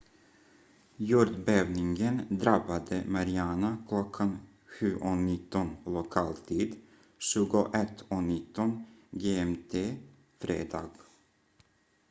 jordbävningen drabbade mariana klockan 07:19 lokal tid 21:19 gmt fredag